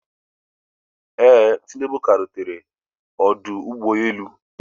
Ee, tinubu ka rutere ọdụ ụgbọ elu